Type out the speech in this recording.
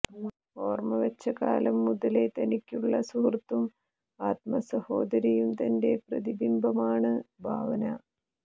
ഓർമവച്ച കാലം മുതലെ തനിയ്ക്കുളള സുഹൃത്തും ആത്മസഹോദരിയും തന്റെ പ്രതിബിംബവുമാണ് ഭാവന